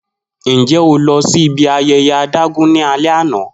Njẹ o lọ si ibi ayẹyẹ adágún ni alẹ ana?